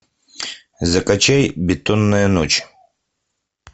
закачай бетонная ночь